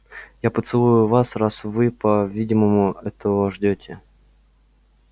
я поцелую вас раз вы по-видимому этого ждёте